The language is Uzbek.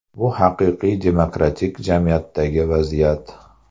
Bu haqiqiy demokratik jamiyatdagi vaziyat.